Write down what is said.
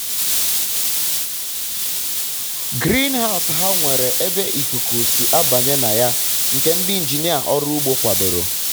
griinhaus ha nwere ebe ikuku si um abanye na um ya ya nke ndi injinia ọrụ ugbo kwadoro